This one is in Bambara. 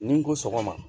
Ni n ko sɔgɔma